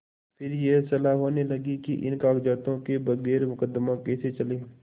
फिर यह सलाह होने लगी कि इन कागजातों के बगैर मुकदमा कैसे चले